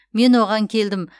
мен оған келдім